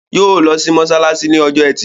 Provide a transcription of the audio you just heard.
Yóò lọ sí mọ́ṣáláṣí lọ́jọ́ ẹtì